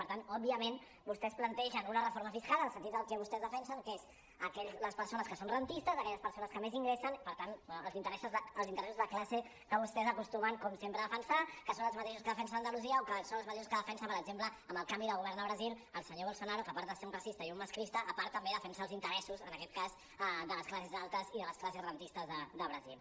per tant òbviament vostès plantegen una reforma fiscal en el sentit del que vostès defensen que és les persones que són rendistes aquelles persones que més ingressen per tant els interessos de classe que vostès acostumen com sempre de·fensar que són els mateixos que defensen a andalusia o que són els mateixos que defensa per exemple amb el canvi de govern a brasil el senyor bolsonaro que a part de ser un racista i un masclista a part també defensa els interessos en aquest cas de les classes altes i de les classes rendistes de brasil